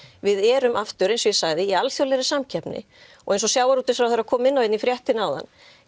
við erum aftur eins og ég sagði í alþjóðlegri samkeppni og eins og sjávarútvegsráðherra kom inn á í fréttinni áðan